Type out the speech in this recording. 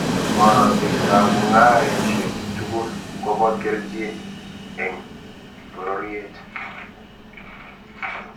Boratet ab mung'areshek tugul kobo keljin eng bororyet